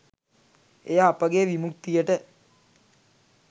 එය අපගේ විමුක්තියට